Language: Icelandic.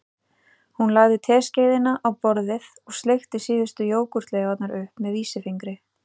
Hún lagði teskeiðina á borðið og sleikti síðustu jógúrtleifarnar upp með vísifingri